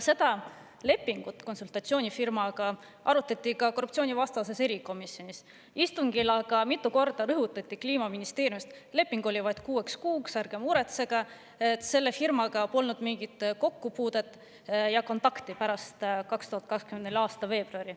Seda lepingut konsultatsioonifirmaga arutati ka korruptsioonivastases erikomisjonis, aga istungil mitu korda rõhutati Kliimaministeeriumi: leping oli vaid kuueks kuuks, ärge muretsege, selle firmaga polnud mingit kokkupuudet ja kontakti pärast 2024. aasta veebruari.